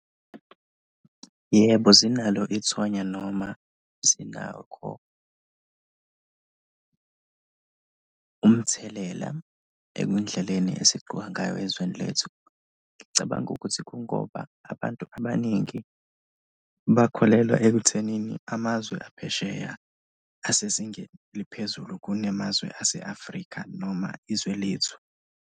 Yebo, zinalo ithonya noma zinakho umthelela kwindleleni esigcoka ngayo ezweni lethu. Ngicabanga ukuthi kungoba abantu abaningi bakholelwa ekuthenini amazwe aphesheya asezingeni eliphezulu kunamazwe ase-Afrika noma izwe lethu.